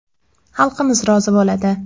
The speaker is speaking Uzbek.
Xalqimiz rozi bo‘ladi.